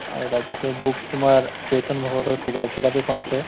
আৰু তাৰ পিছত books তোমাৰ চেতন ভগতৰ কিতা কিতাপ এখন আছে